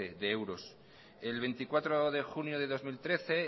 de euros el veinticuatro de junio de dos mil trece